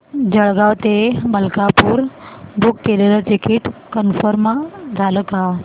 जळगाव ते मलकापुर बुक केलेलं ticket confirm झालं का